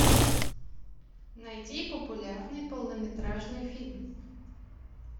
найди популярный полнометражный фильм